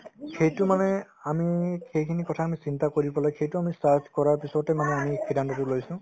সেইটো মানে আমি সেইখিনি কথা আমি চিন্তা কৰিবলৈ সেইটো আমি search কৰাৰ পিছতে মানে আমি এই সিদ্ধান্ততো লৈছো